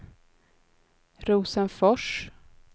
Rosenfors